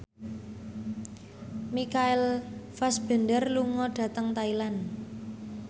Michael Fassbender lunga dhateng Thailand